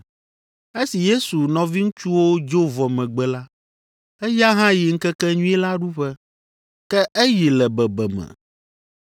Esi Yesu nɔviŋutsuwo dzo vɔ megbe la, eya hã yi Ŋkekenyui la ɖuƒe. Ke eyi le bebeme.